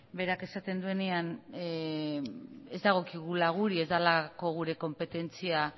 berak esaten duenean ez dagokigula guri ez delako gure konpetentzia